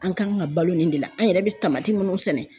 An kan ka balo nin de la an yɛrɛ bɛ tamati minnu sɛnɛ